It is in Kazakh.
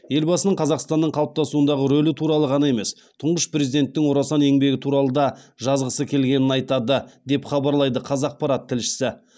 елбасының қазақстанның қалыптасуындағы рөлі туралы ғана емес тұңғыш президенттің орасан еңбегі туралы да жазғысы келгенін айтады деп хабарлайды қазақпарат тілшісі